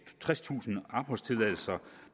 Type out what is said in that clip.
tredstusind opholdstilladelser